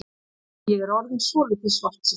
Ég er orðinn svolítið svartsýnn.